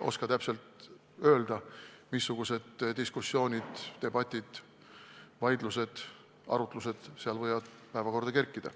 oska ma ka täpselt öelda, missugused diskussioonid, debatid, vaidlused, arutlused seal võivad päevakorda kerkida.